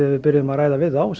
að við byrjuðum að ræða við þá